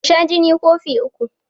Ka sha jini kofi uku